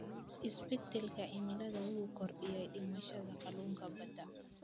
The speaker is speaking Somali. Isbeddelka cimilada wuxuu kordhiyay dhimashada kalluunka badda.